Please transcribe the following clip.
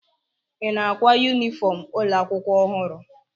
Ị na-ákwá yunifọm ụlọ akwụkwọ ọhụrụ?